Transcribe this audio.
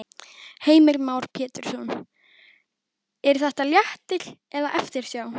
Heimir Már Pétursson: Er þetta léttir eða eftirsjá?